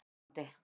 Seljalandi